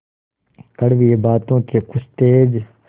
कड़वी बातों के कुछ तेज